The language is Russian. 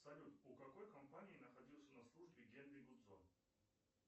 салют у какой компании находился на службе генри гудзон